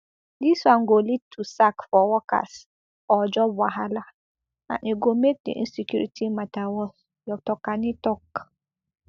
dis one go lead to sack for workers or job wahala and e go make di insecurity mata worse dr kani tok